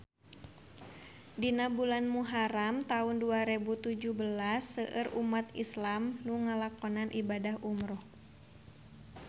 Dina bulan Muharam taun dua rebu tujuh belas seueur umat islam nu ngalakonan ibadah umrah